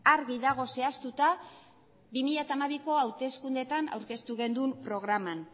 argi dago zehaztuta bi mila hamabiko hauteskundetan aurkeztu genuen programan